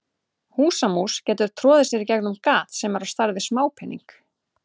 Húsamús getur troðið sér í gegnum gat sem er á stærð við smápening.